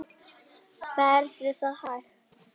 Verður það hægt?